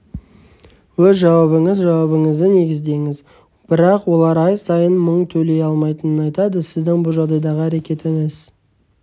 өз жауабыңыз жауабыңызды негіздеңіз бірақ олар ай сайын мың төлей алмайтынын айтады сіздің бұл жағдайдағы әрекетіңіз